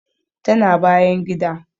Tana bayan gida